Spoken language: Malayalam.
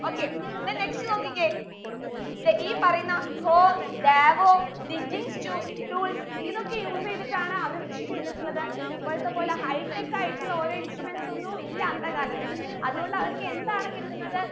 okay then next നോക്കിക്കേ ദെ ഈ പറയുന്ന ഹോ davodigging stoo tools ഇതൊക്കെ use എയ്തിട്ടാണ് അവർ കൃഷി ചെയ്തിട്ടുള്ളത് ഇപ്പോഴത്തെ പോലെ high tech ആയിട്ടുള്ള ഓരോ instruments ഒന്നു ഇല്ല അന്ത കാലത്തിൽ അത് കൊണ്ട് അവർക്ക് എന്താണ് കിട്ടുന്നത്